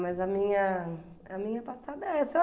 Mas a minha a minha passada é essa.